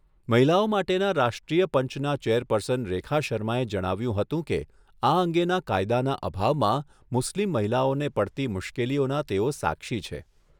મહિલાઓ માટેના રાષ્ટ્રીય પંચના ચેરપર્સન રેખા શર્માએ જણાવ્યુંં હતું કે આ અંગેના કાયદાના અભાવમાં મુસ્લીમ મહિલાઓને પડતી મુશ્કેલીઓના તેઓ સાક્ષી છે.